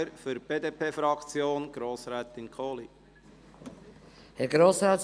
Für die BDP-Fraktion hat Grossrätin Kohli das Wort.